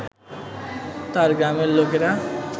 তার গ্রামের লোকেরা